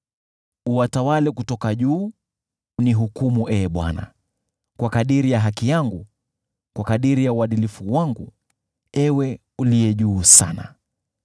Bwana na awahukumu kabila za watu. Nihukumu Ee Bwana , kwa kadiri ya haki yangu, kwa kadiri ya uadilifu wangu, Ewe Uliye Juu Sana.